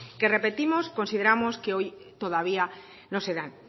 que repetimos consideramos que hoy todavía no se dan